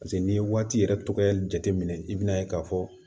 paseke n'i ye waati yɛrɛ tɔgɔ jateminɛ i bin'a ye k'a fɔ